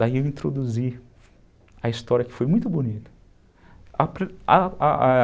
Daí eu introduzi a história que foi muito bonita.